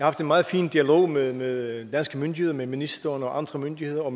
haft en meget fin dialog med med danske myndigheder med ministeren og andre myndigheder og